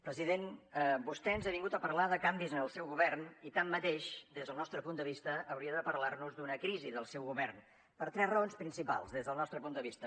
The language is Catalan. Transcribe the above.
president vostè ens ha vingut a parlar de canvis en el seu govern i tanmateix des del nostre punt de vista hauria de parlar nos d’una crisi del seu govern per tres raons principals des del nostre punt de vista